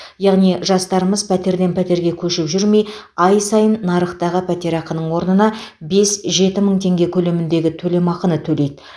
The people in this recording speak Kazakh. яғни жастарымыз пәтерден пәтерге көшіп жүрмей ай сайын нарықтағы пәтерақының орнына бес жеті мың теңге көлеміндегі төлемақыны төлейді